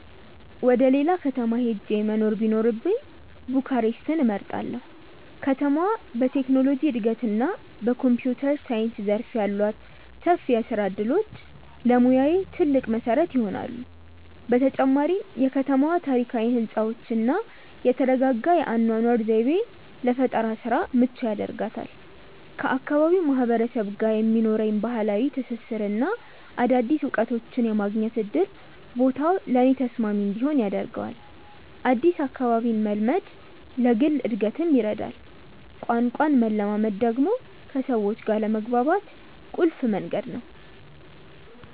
ወደ ሌላ ከተማ ሄጄ መኖር ቢኖርብኝ ቡካሬስትን እመርጣለሁ። ከተማዋ በቴክኖሎጂ እድገትና በኮምፒውተር ሳይንስ ዘርፍ ያሏት ሰፊ የስራ እድሎች ለሙያዬ ትልቅ መሰረት ይሆናሉ። በተጨማሪም የከተማዋ ታሪካዊ ህንፃዎችና የተረጋጋ የአኗኗር ዘይቤ ለፈጠራ ስራ ምቹ ያደርጋታል። ከአካባቢው ማህበረሰብ ጋር የሚኖረኝ ባህላዊ ትስስርና አዳዲስ እውቀቶችን የማግኘት እድል ቦታው ለእኔ ተስማሚ እንዲሆን ያደርገዋል። አዲስ አካባቢን መልመድ ለግል እድገትም ይረዳል። ቋንቋን መለማመድ ደግሞ ከሰዎች ጋር ለመግባባት ቁልፍ መንገድ ነው።